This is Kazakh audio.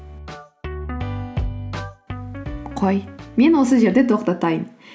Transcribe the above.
қой мен осы жерде тоқтатайын